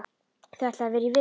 Þau ætluðu að vera í viku.